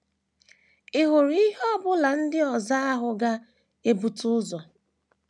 Ị̀ hụrụ ihe ọ bụla ndị ozi ahụ ga - ebute ụzọ?